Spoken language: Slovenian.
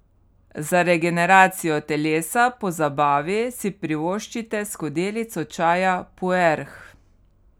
Za regeneracijo telesa po zabavi si privoščite skodelico čaja puerh.